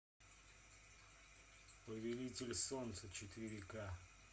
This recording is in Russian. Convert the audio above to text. повелитель солнца четыре ка